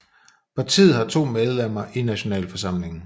Partiet har to medlemmer i Nationalforsamlingen